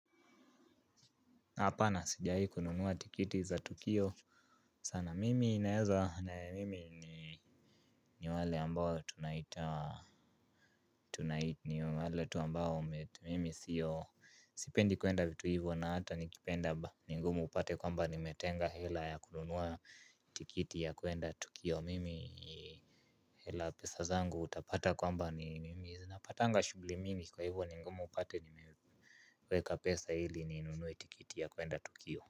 Hapana sijaikukunua tiketi za tukio sana ni wale ambao tunanaita mimi sipendi tu kuenda tu ivo na ata nikipenda ni ngumu upate kuwa nimetenga hela ya kunua tiketi ya kuenda tukio. Hila pesa zangu utapata kwamba ni mimi zinapatanga shugli mingi kwa hivyo ningumu upate nimeweka pesa hili ninunuwa tikiti ya kuenda tukio.